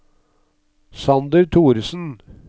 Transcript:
Sander Thoresen